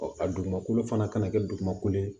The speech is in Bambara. a dugumakolo fana kana kɛ dugumakolo ye